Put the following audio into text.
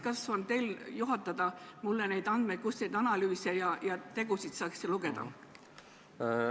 Kas teie oskate juhatada, kust ma nende analüüside ja tegude kohta lugeda saaks?